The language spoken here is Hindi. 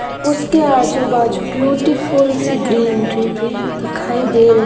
उसके आजू-बाजू ब्यूटीफुल सी ग्रीन ट्री भी दिखाई दे रही --